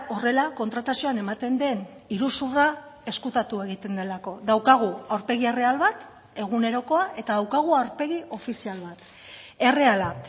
horrela kontratazioan ematen den iruzurra ezkutatu egiten delako daukagu aurpegi erreal bat egunerokoa eta daukagu aurpegi ofizial bat erreala